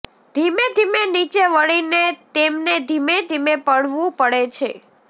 ધીમે ધીમે નીચે વળીને તેમને ધીમે ધીમે પડવું પડે છે